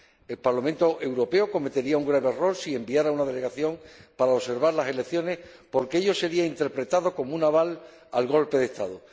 El Parlamento Europeo cometería un grave error si enviara una delegación para observar las elecciones, porque ello sería interpretado como un aval al golpe de Estado